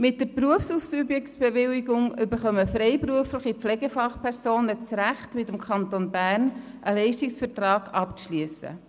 Mit der Berufsausübungsbewilligung erhalten freiberufliche Pflegefachpersonen das Recht, mit dem Kanton Bern einen Leistungsvertrag abzuschliessen.